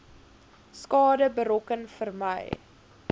skade berokken vermy